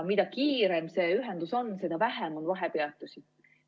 Mida kiirem see ühendus on, seda vähem on vahepeatusi.